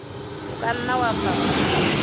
o ka nna wa fafatsa